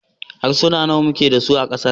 Harsuna nawa muke da su a kasar nan?